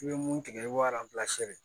I bɛ mun tigɛ i b'o